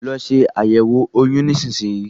Lọ se àyẹ̀wo oyún nísinsìnyí